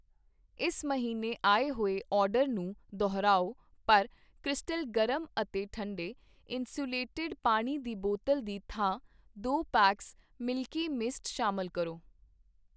ਇਸ ਮਹੀਨੇ ਆਏ ਹੋਏ ਆਰਡਰ ਨੂੰ ਦੁਹਰਾਓ ਪਰ ਕ੍ਰਿਸਟਲ ਗਰਮ ਅਤੇ ਠੰਡੇ ਇੰਸੂਲੇਟਿਡ ਪਾਣੀ ਦੀ ਬੋਤਲ ਦੀ ਥਾਂ ਦੋ ਪੈਕਸ ਮਿਲਕੀ ਮਿਸਟ ਸ਼ਾਮਲ ਕਰੋ।